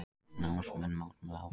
Námsmenn mótmæla áfram